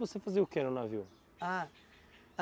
Você fazia o que no navio? Ah,